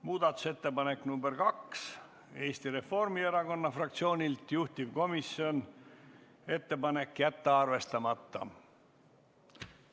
Muudatusettepanek nr 2 on Eesti Reformierakonna fraktsioonilt, juhtivkomisjoni ettepanek on jätta see arvestamata.